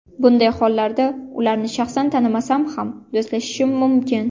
Bunday hollarda ularni shaxsan tanimasam ham, do‘stlashishim mumkin.